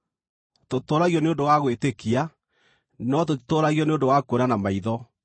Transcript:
Tũtũũragio nĩ ũndũ wa gwĩtĩkia, no tũtitũũragio nĩ ũndũ wa kuona na maitho.